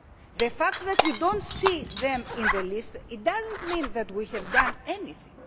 punished. The fact that we do not see them in the list does not mean that we have done